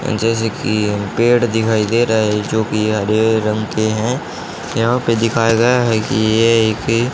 जैसे की पेड़ दिखाई दे रहा है जोकी हरे रंग के हैं यहाँ पे दिखाया गया है की ये एक--